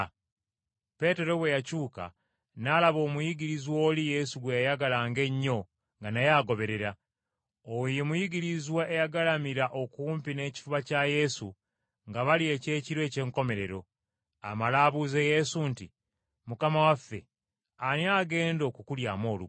Peetero bwe yakyuka, n’alaba omuyigirizwa oli Yesu gwe yayagalanga ennyo nga naye agoberera. Oyo ye muyigiriza eyagalamira okumpi n’ekifuba kya Yesu nga balya ekyekiro eky’enkomerero, amale abuuze Yesu nti, “Mukama waffe ani agenda okukulyamu olukwe?”